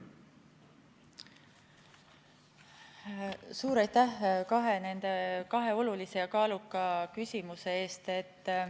Suur aitäh kahe olulise ja kaaluka küsimuse eest!